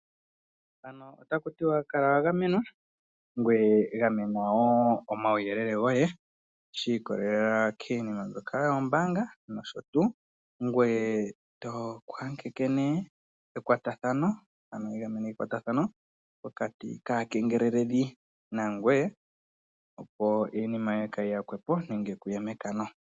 Ano takutiwa kutya kala wagamenwa ngweye gamena wo omayuyelele goye shikololela kiinima mbyoka yombaanga noshutu ngweye twiiyageke wo okuninga ekwatathano naakengeleleli